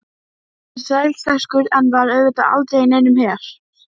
Hann er þrælsterkur en var auðvitað aldrei í neinum her.